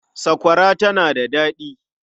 Sakwara tana da daɗi.